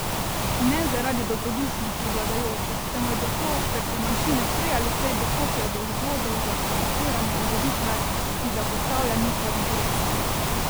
Ne zaradi dobrodušnosti vladajočih, temveč zato, ker se manjšine prej ali slej dokopljejo do vzvodov za sabotiranje ureditve, ki zapostavlja njihove interese.